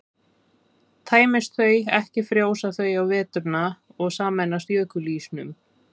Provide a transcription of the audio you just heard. tæmist þau ekki frjósa þau á veturna og sameinast jökulísnum